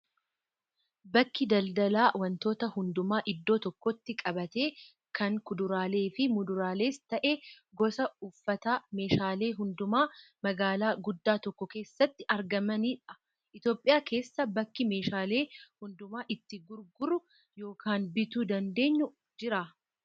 Bakki daldalaa wantoota hundumaa iddoo tokkotti qabate kan kuduraalee fi muduraalees ta'ee gosa uffataa, meeshaalee hundumaa magaalaa guddaa tokko keessatti argamanidha. Itoophiyaa keessaa bakki meeshaalee hundumaa itti gurguruu yookaan bituu dandeenyu jiraa?